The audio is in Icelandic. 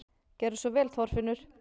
Gerðu svo vel, Þorfinnur!